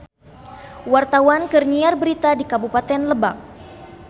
Wartawan keur nyiar berita di Kabupaten Lebak